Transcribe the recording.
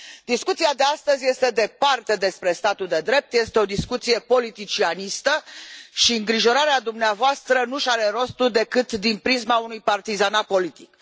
Discuția de astăzi este departe de a fi despre statul de drept, este o discuție politicianistă și îngrijorarea dumneavoastră nu și are rostul decât din prisma unui partizanat politic.